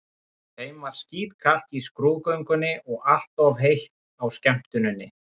Þeim var skítkalt í skrúðgöngunni og allt of heitt á skemmtuninni.